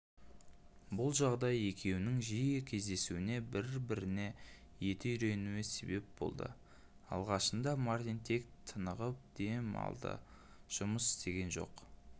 бұл жағдай екеуінің жиі кездесуіне бір-біріне еті үйренуіне себеп болдыалғашында мартин тек тынығып дем алды жұмыс істеген жоқ